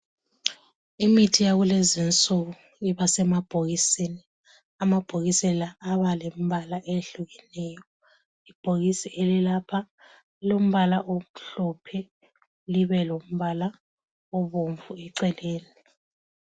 Imithi yakulezi nsuku ibasemabhokisini , amabhokisi la aba lembala eyehlukeneyo. Ibhokisi elilapha lilombala omhlophe libe lombala obomvu eceleni